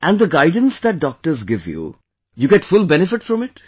And the guidance that doctors give you, you get full benefit from it